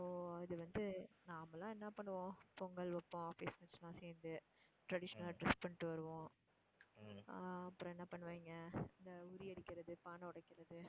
இப்போ அது வந்து நாமெல்லாம் என்ன பண்ணுவோம் பொங்கல் வைப்போம் office mates எல்லாம் சேர்ந்து traditional ஆ dress பண்ணிட்டு வருவோம் ஆஹ் அப்புறம் என்ன பண்ணுவாங்க இந்த உறி அடிக்கிறது, பானை உடைக்கிறது